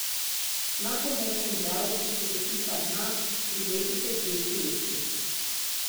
Na pomočen del, ki se dotika dna, prilepite dve presti.